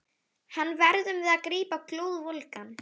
Hann verðum við að grípa glóðvolgan.